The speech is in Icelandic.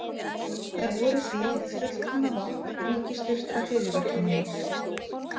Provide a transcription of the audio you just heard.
Þær voru því hið fullkomna vopn ríkisstyrktra hryðjuverkamanna.